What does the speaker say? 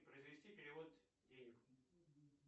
произвести перевод денег